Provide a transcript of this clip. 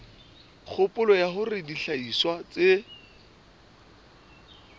kgopolo ya hore dihlahiswa tse